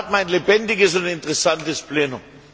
Dann hat man ein lebendiges und interessantes Plenum.